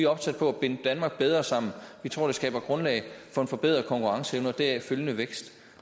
opsat på at binde danmark bedre sammen vi tror det skaber grundlag for en forbedret konkurrenceevne og deraf følgende vækst